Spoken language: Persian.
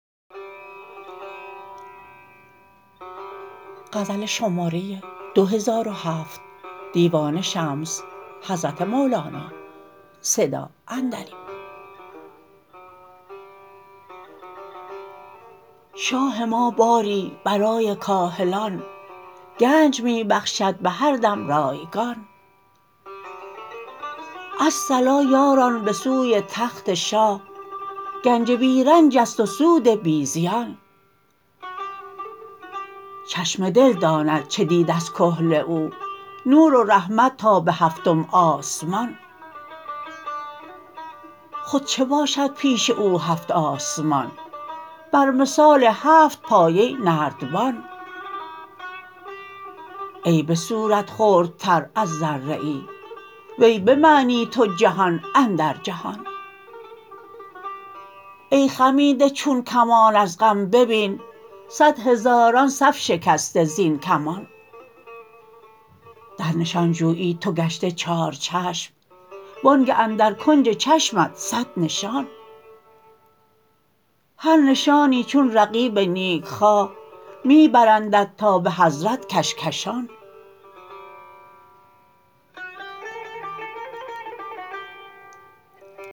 شاه ما باری برای کاهلان گنج می بخشد به هر دم رایگان الصلا یاران به سوی تخت شاه گنج بی رنج است و سود بی زیان چشم دل داند چه دید از کحل او نور و رحمت تا به هفتم آسمان خود چه باشد پیش او هفت آسمان بر مثال هفت پایه نردبان ای به صورت خردتر از ذره ای وی به معنی تو جهان اندر جهان ای خمیده چون کمان از غم ببین صد هزاران صف شکسته زین کمان در نشان جویی تو گشته چارچشم وآنگه اندر کنج چشمت صد نشان هر نشانی چون رقیب نیکخواه می برندت تا به حضرت کشکشان